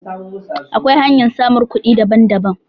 Akwai hanyar samun kuɗi daban daban